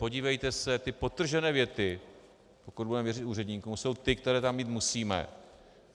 Podívejte se, ty podtržené věty, pokud budeme věřit úředníkům, jsou ty, které tam mít musíme.